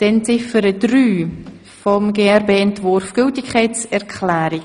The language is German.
Damit kommen wir zur Abstimmung über Ziffer 3, die Gültigerklärung.